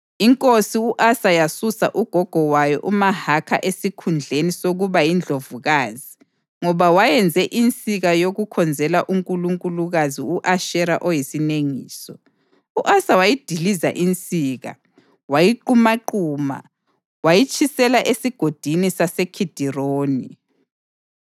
Inkosi u-Asa yasusa ugogo wayo uMahakha esikhundleni sokuba yindlovukazi ngoba wayenze insika yokukhonzela unkulunkulukazi u-Ashera oyisinengiso. U-Asa wayidiliza insika, wayiqumaquma wayitshisela eSigodini saseKhidironi.